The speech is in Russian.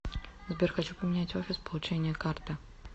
сбер хочу поменять офис получения карты